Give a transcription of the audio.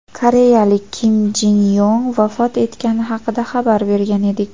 koreyalik Kim Jin Yong vafot etgani haqida xabar bergan edik.